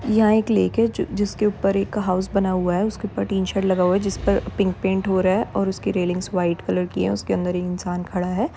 यहाँ एक लेक है जो जिसके ऊपर एक हाउस बना हुआ है उसके ऊपर टीन शेड लगा हुआ है जिसपर पिंक पेंट हो रहा है और उसके रेलिंगस वाईट कलर की है उसके अंदर इंसान खड़ा है।